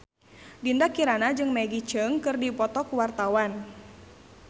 Dinda Kirana jeung Maggie Cheung keur dipoto ku wartawan